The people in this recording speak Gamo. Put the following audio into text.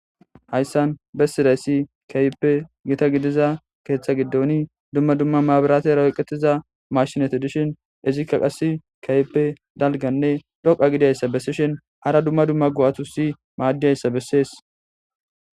Hayisan besizayisi kehippe gita gidiza keeththa gidoni dumma dumma mabiratera oyiqetizayita mashineti dishin izika qase kehippe daliganne dhoqa gidiyaysa besishin hara dumma dumma go'atusi madiyaysa besesi.